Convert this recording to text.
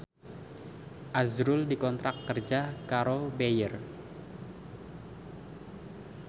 azrul dikontrak kerja karo Bayer